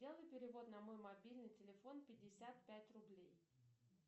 сделай перевод на мой мобильный телефон пятьдесят пять рублей